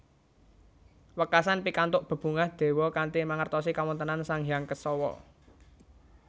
Wekasan pikantuk bebungah dewa kanthi mangertosi kawontenan Sang Hyang Kesawa